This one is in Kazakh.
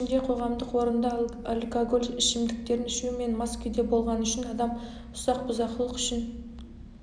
соның ішінде қоғамдық орында алкоголь ішімдіктерін ішу мен мас күйде болғаны үшін адам ұсақ бұзақылық үшін